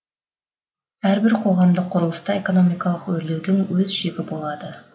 әрбір қоғамдық құрылыста экономикалық өрлеудің өз шегі болады